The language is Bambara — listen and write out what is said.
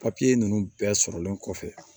ninnu bɛɛ sɔrɔlen kɔfɛ